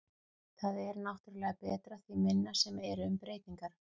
Það er náttúrulega betra því minna sem eru um breytingar.